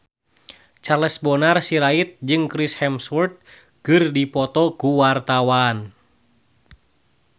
Charles Bonar Sirait jeung Chris Hemsworth keur dipoto ku wartawan